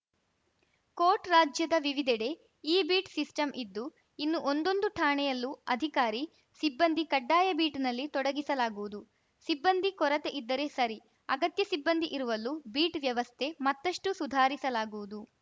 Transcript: coat ರಾಜ್ಯದ ವಿವಿಧೆಡೆ e beat system ಇದ್ದು ಇನ್ನು ಒಂದೊಂದು ಠಾಣೆಯಲ್ಲೂ ಅಧಿಕಾರಿ ಸಿಬ್ಬಂದಿ ಕಡ್ಡಾಯ ಬೀಟ್‌ನಲ್ಲಿ ತೊಡಗಿಸಲಾಗುವುದು ಸಿಬ್ಬಂದಿ ಕೊರತೆ ಇದ್ದರೆ ಸರಿ ಅಗತ್ಯ ಸಿಬ್ಬಂದಿ ಇರುವಲ್ಲೂ ಬೀಟ್‌ ವ್ಯವಸ್ಥೆ ಮತ್ತಷ್ಟುಸುಧಾರಿಸಲಾಗುವುದು